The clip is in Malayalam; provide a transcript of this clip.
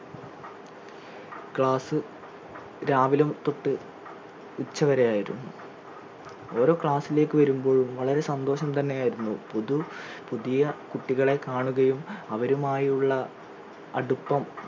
class രാവിലെ തൊട്ട് ഉച്ചവരെ ആയിരുന്നു ഓരോ class ലേക് വരുമ്പോഴും വളരെ സന്തോഷം തന്നെ ആയിരുന്നു പുതു പുതിയ കുട്ടികളെ കാണുകയും അവരുമായുള്ള അടുപ്പം